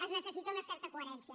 es necessita una certa coherència